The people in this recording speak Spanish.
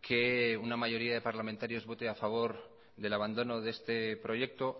que una mayoría de parlamentarios vote a favor del abandono de este proyecto